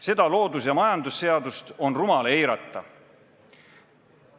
Seda loodus- ja majandusseadust on rumal eirata.